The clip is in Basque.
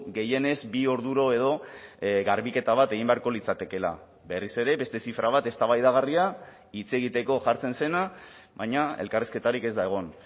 gehienez bi orduro edo garbiketa bat egin beharko litzatekeela berriz ere beste zifra bat eztabaidagarria hitz egiteko jartzen zena baina elkarrizketarik ez da egon